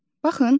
Baxın,